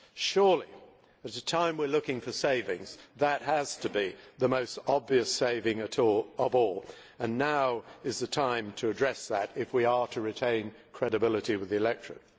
Surely at a time when we are looking for savings, that has to be the most obvious saving of all, and now is the time to address that if we are to retain credibility with the electorate.